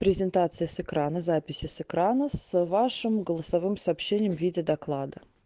презентация с экрана записи с экрана с вашим голосовым сообщением в виде доклада